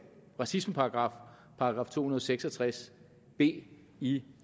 racismeparagraf § to hundrede og seks og tres b i